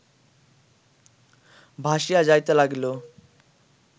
ভাসিয়া যাইতে লাগিল